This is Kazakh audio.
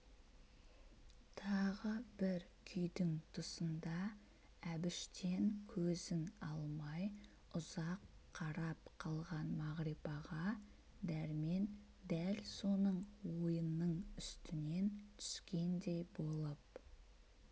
тағы бір күйдің тұсында әбіштен көзін алмай ұзақ қарап қалған мағрипаға дәрмен дәл соның ойының үстінен түскендей болып